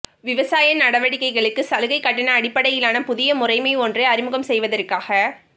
விவசாய நடவடிக்கைகளுக்கு சலுகை கட்டண அடிப்படையிலான புதிய முறைமை ஒன்றை அறிமுகம் செய்வதற்காக